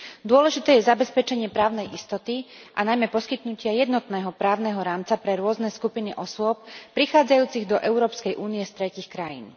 Dôležité je zabezpečenie právnej istoty, a najmä poskytnutie jednotného právneho rámca pre rôzne skupiny osôb prichádzajúcich do Európskej únie z tretích krajín.